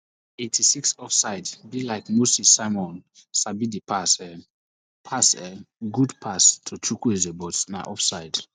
eighty-six offsidebe like say moses simon sabi dis pass um pass [um} good pass to chukwueze but na off side